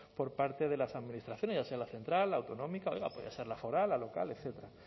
por parte de las administraciones ya sea la central la autonómica oiga podía ser la foral la local etcétera